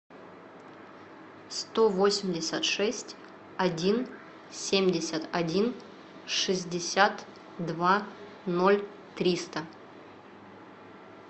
сто восемьдесят шесть один семьдесят один шестьдесят два ноль триста